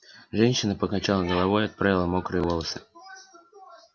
женщина покачала головой отправила мокрые волосы